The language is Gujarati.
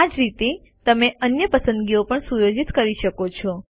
આ જ રીતે તમે અન્ય પસંદગીઓ પણ સુયોજિત કરી શકો છો